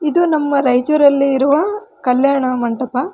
ಇದು ನಮ್ಮ ರಾಯಚೂರಲ್ಲಿ ಇರುವ ಕಲ್ಯಾಣ ಮಂಟಪ.